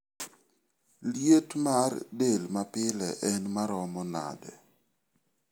Liet mar del mapile en maromo nade?